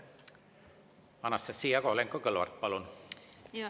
Anastassia Kovalenko-Kõlvart, palun!